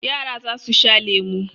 Yara za su sha lemu.